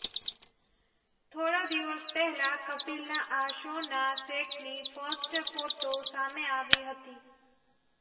થોડા દિવસ પહેલા કપિલના આ શો ના સેટની ફર્સ્ટ ફોટો સામે આવી હતી